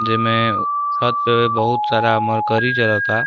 जे में छत पे बहुत सारा मरकरी जलता।